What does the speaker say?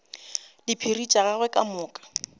diphiri tša gagwe ka moka